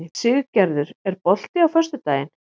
Siggerður, er bolti á föstudaginn?